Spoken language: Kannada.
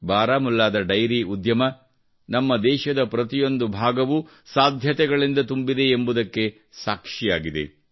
ಬಾರಾಮುಲ್ಲಾದ ಡೈರಿ ಉದ್ಯಮವು ನಮ್ಮ ದೇಶದ ಪ್ರತಿಯೊಂದು ಭಾಗವು ಸಾಧ್ಯತೆಗಳಿಂದ ತುಂಬಿದೆ ಎಂಬುದಕ್ಕೆ ಸಾಕ್ಷಿಯಾಗಿದೆ